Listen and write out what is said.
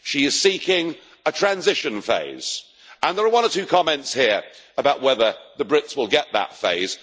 She is seeking a transition phase, and there are one or two comments here about whether the Brits will get that phase.